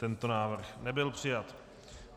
Tento návrh nebyl přijat.